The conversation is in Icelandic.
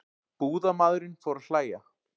Búðarmaðurinn fór að hlæja.